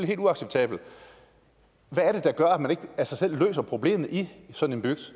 helt uacceptabelt hvad er det der gør at man ikke af sig selv løser problemet i sådan en bygd